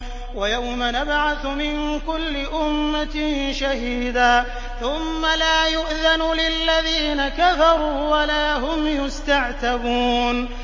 وَيَوْمَ نَبْعَثُ مِن كُلِّ أُمَّةٍ شَهِيدًا ثُمَّ لَا يُؤْذَنُ لِلَّذِينَ كَفَرُوا وَلَا هُمْ يُسْتَعْتَبُونَ